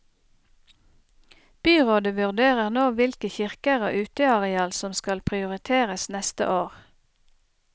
Byrådet vurderer nå hvilke kirker og uteareal som skal prioriteres neste år.